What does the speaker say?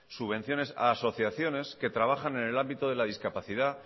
subvenciones a asociaciones que trabajan en el ámbito de la discapacidad